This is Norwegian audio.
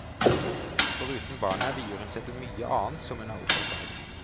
Foruten barna vier hun seg til mye annet som hun er opptatt av.